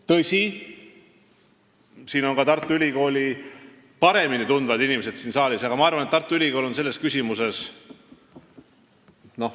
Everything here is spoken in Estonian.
Tõsi, siin saalis on Tartu Ülikooli paremini tundvaid inimesi, aga ma arvan, et Tartu Ülikool on selles küsimuses ...